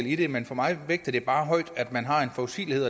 i det men for mig vægter det bare tungt at man har en forudsigelighed